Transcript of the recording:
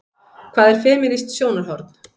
Hvað er femínískt sjónarhorn?